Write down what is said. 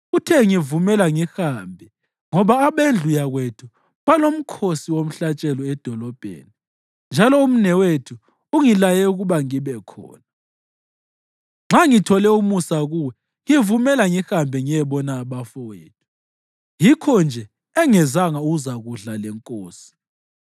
Uthe, ‘Ngivumela ngihambe ngoba abendlu yakwethu balomkhosi womhlatshelo edolobheni njalo umnewethu ungilaye ukuba ngibe khona. Nxa ngithole umusa kuwe, ngivumela ngihambe ngiyebona abafowethu.’ Yikho-nje engezanga ukuzakudla lenkosi.”